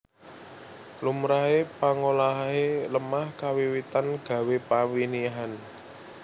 Lumrahe pangolahe lemah kawiwitan gawé pawinihan